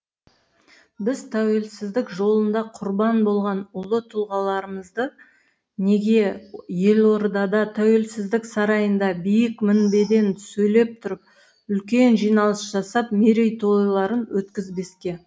біз тәуелсіздік жолында құрбан болған ұлы тұлғаларымызды неге елордада тәуелсіздік сарайында биік мінбеден сөйлеп тұрып үлкен жиналыс жасап мерейтойларын өткізбеске